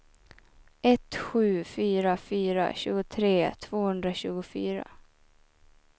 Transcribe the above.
ett sju fyra fyra tjugotre tvåhundratjugofyra